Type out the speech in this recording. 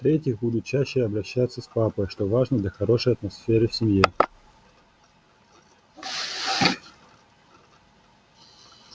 в-третьих буду чаще обращаться с папой что важно для хорошей атмосферы в семье